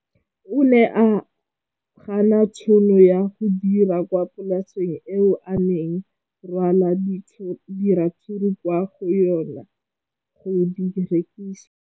O ne a gana tšhono ya go dira kwa polaseng eo a neng rwala diratsuru kwa go yona go di rekisa.